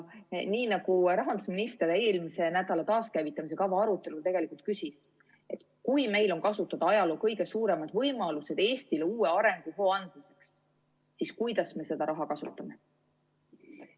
Nii nagu rahandusminister eelmise nädala taaskäivitamise kava arutelul küsis, et kui meil on kasutada ajaloo kõige suuremad võimalused Eestile uue arenguhoo andmiseks, siis kuidas me seda raha kasutame.